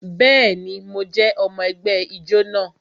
Bẹẹni, mo jẹ́ ọmọ ẹgbẹ́ ijó náà